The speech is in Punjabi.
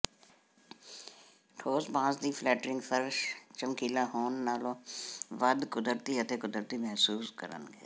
ਠੋਸ ਬਾਂਸ ਦੀ ਫਲੈਟਿੰਗ ਫ਼ਰਸ਼ ਚਮਕੀਲਾ ਹੋਣ ਨਾਲੋਂ ਵੱਧ ਕੁਦਰਤੀ ਅਤੇ ਕੁਦਰਤੀ ਮਹਿਸੂਸ ਕਰਨਗੇ